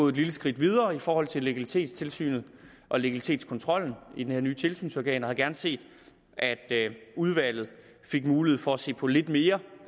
et lille skridt videre i forhold til legalitetstilsynet og legalitetskontrollen i det her nye tilsynsorgan og havde gerne set at udvalget fik mulighed for at se på lidt mere